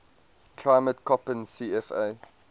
climate koppen cfa